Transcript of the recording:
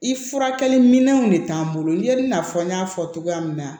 I furakɛli minɛnw de t'an bolo ni ye i n'a fɔ n y'a fɔ cogoya min na